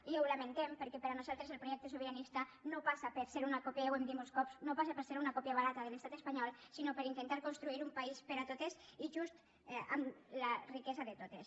i ho lamentem perquè per a nosaltres el projecte sobiranista no passa ja ho hem dit molts cops per ser una còpia barata de l’estat espanyol sinó per intentar construir un país per a totes i just amb la riquesa de totes